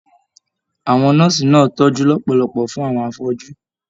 Àwọn nọ́ọ̀sì náà tọjú lọpọlọpọ fún àwọn afọju.